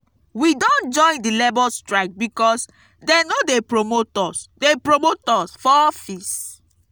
we don join di labour strike because dey no dey promote us dey promote us for office.